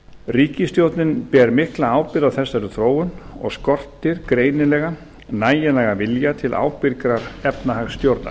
ríkisstjórnin ber mikla ábyrgð á þessari þróun og skortir greinilega nægilegan vilja til ábyrgrar efnahagsstjórnar